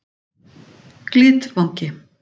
Glitvangi